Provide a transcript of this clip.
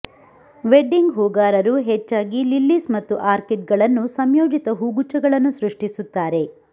wedding ಹೂಗಾರರು ಹೆಚ್ಚಾಗಿ lilies ಮತ್ತು ಆರ್ಕಿಡ್ಗಳನ್ನು ಸಂಯೋಜಿತ ಹೂಗುಚ್ಛಗಳನ್ನು ಸೃಷ್ಟಿಸುತ್ತಾರೆ